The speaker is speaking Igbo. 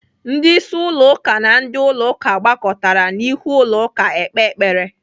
Ndị isi ụlọ ụka na ndị ụlọ ụka gbakọrọtara n'ihu ụlọ ụka ekpe ekpere.